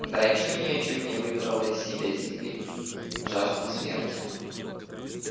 драчунья чуть не выдрала себя из земли жаждя смерти